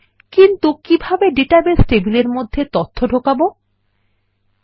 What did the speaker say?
কিন্তু কিভাবে আমরা ডেটাবেস টেবিলের মধ্যে তথ্য ঢোকাবো160